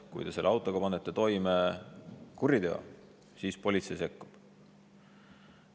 Kui te panete oma autoga toime kuriteo, siis politsei sekkub.